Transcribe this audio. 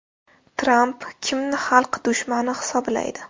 Tramp kimni xalq dushmani hisoblaydi?